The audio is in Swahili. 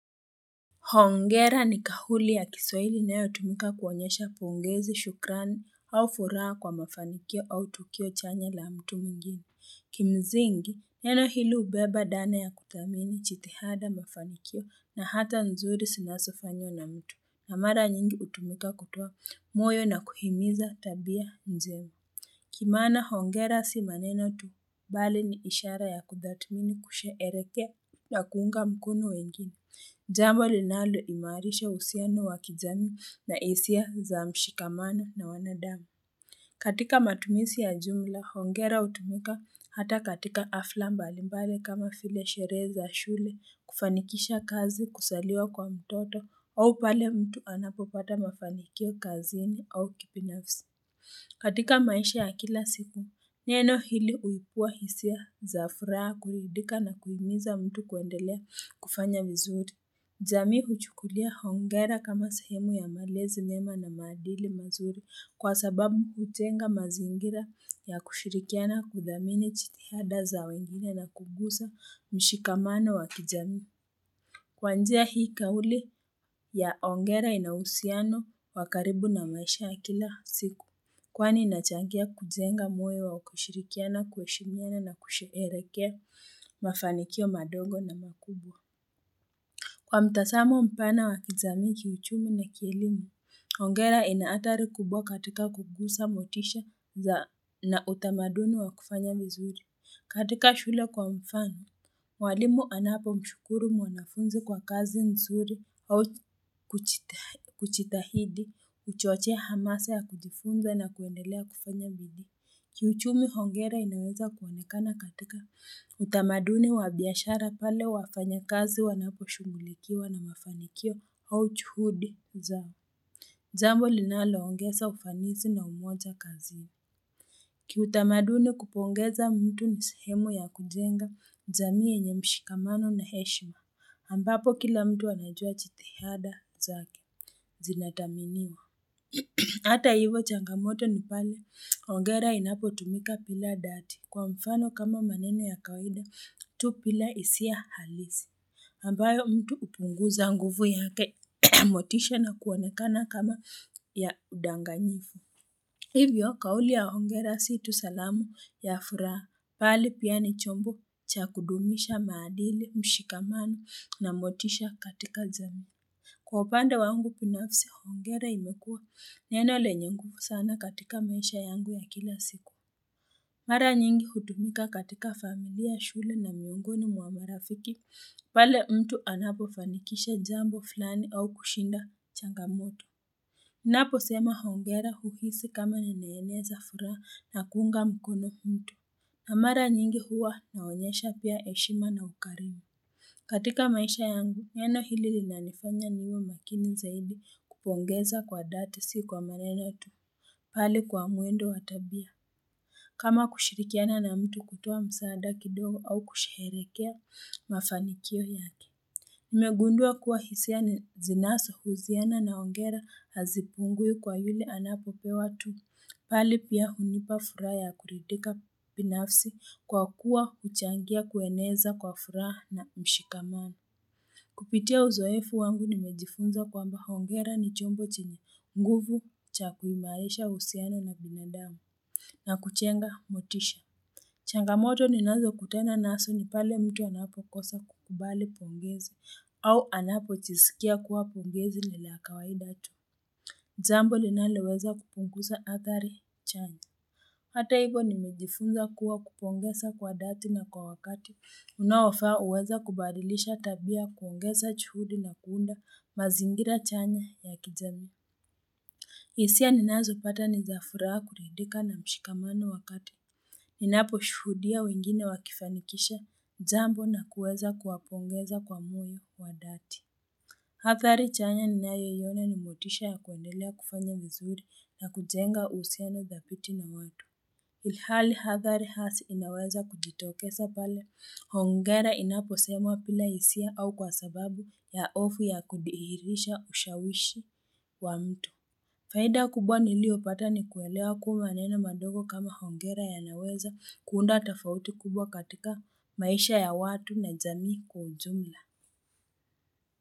Hongera ni kauli ya kiswaili inayotumika kuonyesha pongezi shukrani au furaha kwa mafanikio au tukio chanya la mtu mwingini. Kimzingi, neno hili ubeba dana ya kuthamini chitihada mafanikio na hata nzuri sinasofanywa na mtu na mara nyingi utumika kutoa moyo na kuhimiza tabia mzima. Kimaana hongera si maneno tu bali ni ishara ya kudhatmini kusherehekea na kuunga mkono wengine. Jambo linalo imarisha usiano wakijamii na isia za mshikamana na wanadamu. Katika matumisi ya jumla, hongera hutumika hata katika afla mbali mbali kama file sherehe za shule kufanikisha kazi kusaliwa kwa mtoto au pale mtu anapopata mafanikio kazini au kipinafsi. Katika maisha ya kila siku, neno hili uipua hisia za furaha kuridika na kuhimiza mtu kuendelea kufanya vizuri. Jamii huchukulia hongera kama sahemu ya malezi mema na maadili mazuri kwa sababu hutenga mazingira ya kushirikiana kudhamini chitihada za wengine na kugusa mshikamano wa kijamii. Kwa njia hii kauli ya hongera inauhusiano wa karibu na maisha ya kila siku kwani inachangia kujenga moyo wa kushirikiana, ku heshimiana na kusherehekea mafanikio madogo na makubwa. Kwa mtasamo mpana wakijamii kiuchumi na kielimu, hongera inaathari kubwa katika kugusa motisha za na utamaduni wa kufanya vizuri. Katika shule kwa mfano, walimu anapo mshukuru mwanafunzi kwa kazi nzuri au kuchitahidi, uchochea hamasa ya kujifunza na kuendelea kufanya bidii. Kiuchumi hongera inaweza kuonekana katika utamaduni wa biashara pale wafanya kazi wanapo shugulikiwa na mafanikio au chuhudi zao. Jambo linalo ongesa ufanisi na umoja kazi. Ki utamaduni kupongeza mtu ni sehemu ya kujenga, jamii yenye mshikamano na heshima. Ambapo kila mtu anajua chitihada zake, zinathaminiwa. Hata hivo changamoto ni pale, ongera inapo tumika pila dati. Kwa mfano kama maneno ya kawaida, tu pila isia halisi. Ambayo mtu upunguza nguvu yake motisha na kuonekana kama ya udanganyifu. Hivyo, kauli ya Hongera si tu salamu ya furaha, pali pia ni chombo cha kudumisha maadili mshikamano na motisha katika jamii. Kwa upande wangu pinafisi, Hongera imekua neno lenye ngufu sana katika maisha yangu ya kila siku. Mara nyingi hutumika katika familia shule na miungoni mwa marafiki, pale mtu anapo fanikisha jambo flani au kushinda changamoto. Napo sema hongera huhisi kama ninaeneza furaha na kuunga mkono kuntu. Na mara nyingi huwa naonyesha pia heshima na ukarimu. Katika maisha yangu, neno hili linanifanya niwe makini zaidi kupongeza kwa dati si kwa maneno tu. Bali kwa muendo wa tabia. Kama kushirikiana na mtu kutoa msaada kidogo au kusherehekea mafanikio yake. Nimegundua kuwa hisia ni zinaso huziana na hongera hazipungui kwa yule anapopewa tu. Pali pia hunipa furaha ya kuridika pinafsi kwa kuwa uchangia kueneza kwa furaha na mshikamano. Kupitia uzoefu wangu nimejifunza kwamba hongera ni chombo chenye nguvu cha kuimarisha usiano na binadamu na kujenga motisha. Changamoto ninazo kutana naso ni pale mtu anapokosa kukubali pongezi au anapo jisikia kuwa pongezi nila kawaida tu. Jambo linaloweza kupunguza athari chanya. Hata hivo nimejifunza kuwa kupongesa kwa dhati na kwa wakati. Unaofaa uweza kubadilisha tabia kuongeza juhudi na kuunda mazingira chanya ya kijamii. Isia ninazo pata ni za furaha kuridika na mshikamano wa kati. Ninapo shuhudia wengine wakifanikisha jambo na kuweza kuwapongeza kwa moyo wadhati. Hathari chanya ninayoiona ni motisha ya kuendelea kufanya vizuri na kujenga usiano dhabiti na watu. Ilhali Hathari hasi inaweza kujitokesa pale. Hongera inapo semwa pila hisia au kwa sababu ya ofu ya kudihirisha ushawishi wa mtu. Faida kubwa nilio pata ni kuelewa kuwa maneno madogo kama hongera yanaweza kuunda tafauti kubwa katika maisha ya watu na jamii kwa ujumla.